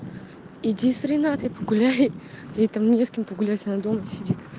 иди с ренатой погуляй ей там не с кем погулять она дома сидит